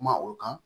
Kuma o kan